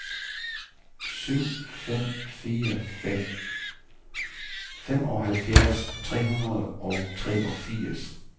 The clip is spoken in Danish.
syv fem fire fem femoghalvfjerds tre hundrede og treogfirs